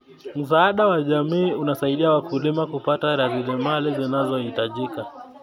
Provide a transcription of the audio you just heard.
Msaada wa jamii unasaidia wakulima kupata rasilimali zinazohitajika.